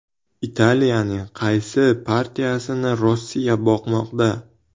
Italiyaning qaysi partiyasini Rossiya boqmoqda?